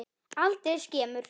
Aldrei skemur.